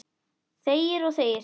Þegir og þegir.